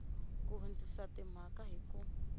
ku hundzisa timhaka hi ku